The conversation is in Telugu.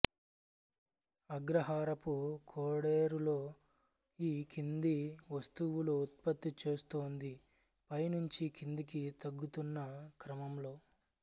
అగ్రహారపు కోడేరులో ఈ కింది వస్తువులు ఉత్పత్తి చేస్తోంది పై నుంచి కిందికి తగ్గుతున్న క్రమంలో